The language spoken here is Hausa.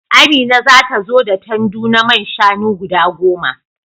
Amina za ta zo da tandu na man shanu guda goma.